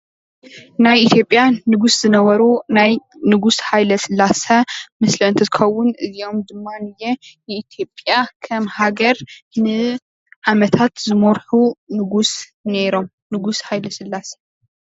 ናይ ኢ/ያ ንጉስ ዝነበሩ ናይ ንጉስ ሃይለስላሴ ምስሊ እንትትከውን እዚኦም ድማ ነየአ ንኢትዮጵያ ከም ሃገር ንዓመታት ዝመርሑ ንጉስ ኔሮም ንጉስ ሃይለስላሴ፡፡